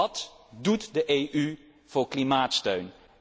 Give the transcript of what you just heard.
Wat doet de EU voor klimaatsteun?